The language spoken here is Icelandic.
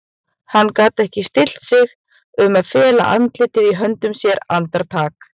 Hann gat ekki stillt sig um að fela andlitið í höndum sér andartak.